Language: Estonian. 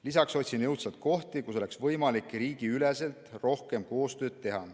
Lisaks otsin jõudsalt kohti, kus oleks võimalik riigiüleselt rohkem koostööd teha.